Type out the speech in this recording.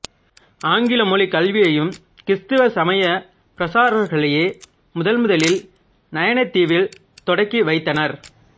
ஆங்கில மொழிக் கல்வியையும் கிறீஸ்தவ சமயப் பிரசாரகர்களே முதன்முதலில் நயினாதீவில் தொடக்கிவைத்தனர்